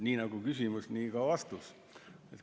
Nii nagu küsimus, nii ka vastus.